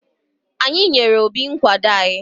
Anyị nyere Obi nkwado anyị.